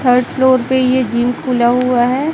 Third floor पे ये gym खुला हुआ है।